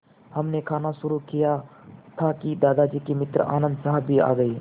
हमने खाना शुरू किया ही था कि दादाजी के मित्र आनन्द साहब भी आ गए